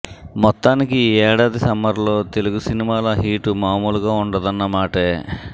మొత్తానికి ఈ ఏడాది సమ్మర్లో తెలుగు సినిమాల హీటు మామూలుగా ఉండదన్న మాటే